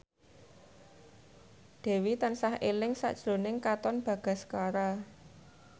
Dewi tansah eling sakjroning Katon Bagaskara